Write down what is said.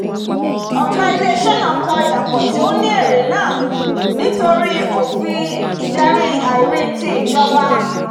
ọ̀gá ilé isé naà kọ ìdàpọ̀ tí ó ní èrè náà nítorí ọ̀fin ìdarí ààrí ti ìjọba